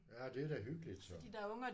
Ja det er da hyggeligt så